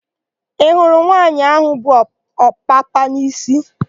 Ị hụrụ nwaanyị áhụ̀ bu ọpapa n'isi?